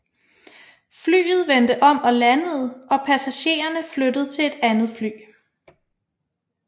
Flyet vendte om og landede og passagererne flyttet til andet fly